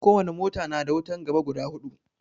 Ko wani mota na da wutan gaba guda hudu